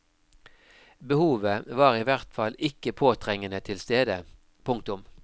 Behovet var i hvert fall ikke påtrengende tilstede. punktum